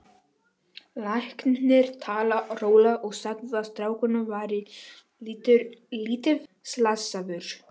Læknirinn talaði rólega og sagði að strákurinn væri lítið slasaður.